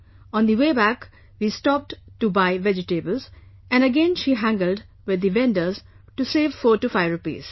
On the way back, we stopped to buy vegetables, and again she haggled with the vendors to save 45 rupees